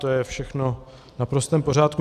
To je všechno v naprostém pořádku.